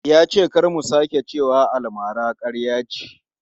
Ya ce kar mu sake cewa almara ƙarya ce.